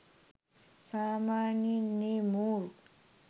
සාමාන්‍යයෙන් ඒ මෝරු